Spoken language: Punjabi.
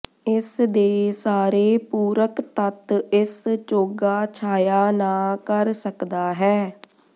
ਇਸ ਦੇ ਸਾਰੇ ਪੂਰਕ ਤੱਤ ਇਸ ਚੋਗਾ ਛਾਇਆ ਨਾ ਕਰ ਸਕਦਾ ਹੈ